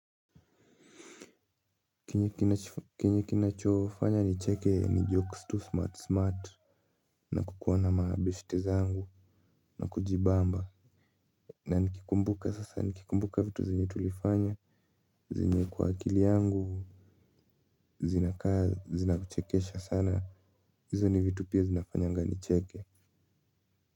Kenye kinachofanya nicheke ni jokes tu smart smart na kukuwa na mabeshte zangu na kujibamba na nikikumbuka sasa nikikumbuka vitu zenye tulifanya zenye kwa akili yangu zinakuchekesha sana hizo ni vitu pia zinafanyanga nicheke.